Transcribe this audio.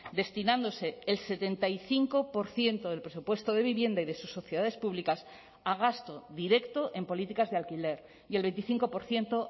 destinándose el setenta y cinco por ciento del presupuesto de vivienda y de sus sociedades públicas a gasto directo en políticas de alquiler y el veinticinco por ciento